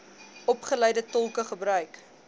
opgeleide tolke gebruik